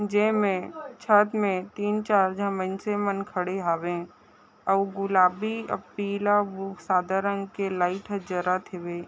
जेमे छत में तीन चार झन मन से मन खड़े हवे अउ गुलाबी अ पीला वो सादा रंग के लाईट ह जरत हॆवे।